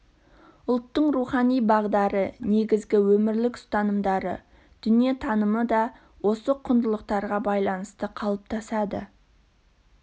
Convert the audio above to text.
ұлттың рухани бағдары негізгі өмірлік ұстанымдары дүниетанымы да осы құндылықтарға байланысты қалыптасады